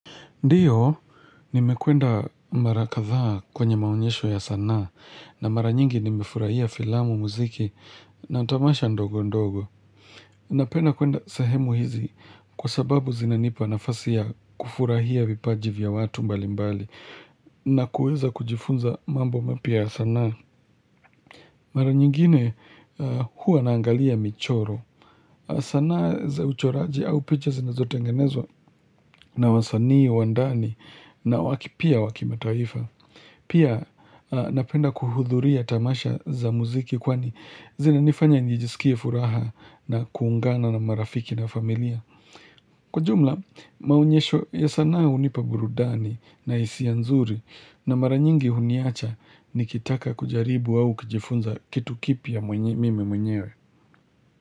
Ndiyo, nimekwenda mara kadhaa kwenye maonyesho ya sanaa na mara nyingi nimefurahia filamu muziki na tamasha ndogo ndogo. Napenda kuenda sehemu hizi kwa sababu zinanipa nafasi ya kufurahia vipaji vya watu mbali mbali na kueza kujifunza mambo mapya sana. Mara nyingine huwa naangalia michoro sanaa za uchoraji au picha zinazotengenezwa na wasanii, wa ndani na waki pia wakimataifa Pia napenda kuhudhuria tamasha za muziki kwani zinanifanya nijisikie furaha na kuungana na marafiki na familia Kwa jumla maonyesho ya sanaa hunipa burudani na hisia nzuri na mara nyingi huniacha nikitaka kujaribu au kujifunza kitu kipya mimi mwenyewe.